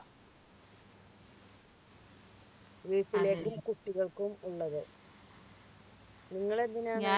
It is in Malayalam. വീട്ടിലേക്ക് കുട്ടികൾക്കും ഉള്ളത് നിങ്ങൾ എങ്ങനെയാ